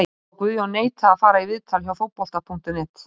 Sá að Guðjón neitaði að fara í viðtal hjá Fótbolti.net.